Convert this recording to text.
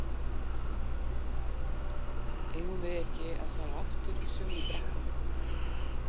eigum við ekki að fara aftur í sömu brekkuna?